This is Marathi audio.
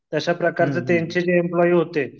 तशा प्रकारचे त्यांचे जे एम्प्लॉई होते